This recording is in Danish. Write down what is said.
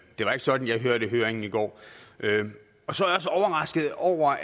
det var ikke sådan jeg hørte høringen i går så